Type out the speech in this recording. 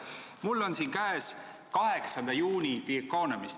Mul on siin 8. juuni The Economist.